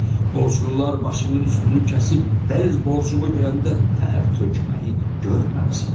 Borclular başının üstünü kəsib ver borcumu deyəndə tər tökməyi görməmisən.